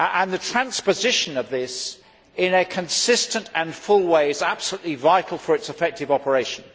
The transposition of this, in a consistent and full way, is absolutely vital for its effective operation.